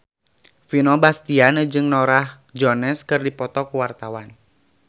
Vino Bastian jeung Norah Jones keur dipoto ku wartawan